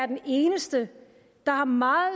den eneste der har meget